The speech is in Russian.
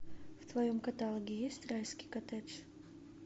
в твоем каталоге есть райский коттедж